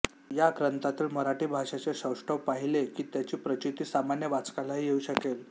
ह्या ग्रंथातील मराठी भाषेचे सौष्ठव पाहिले की त्याची प्रचिती सामान्य वाचकालाही येऊ शकेल